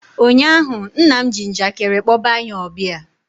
ụnyaahụ, nna m ji njakịrị kpọba anyị ọbịa